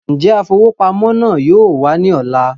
Njẹ afowópamọ́ náà yóò wà ní ọ̀la?